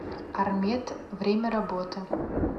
армед время работы